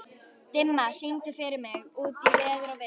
Dimma, syngdu fyrir mig „Út í veður og vind“.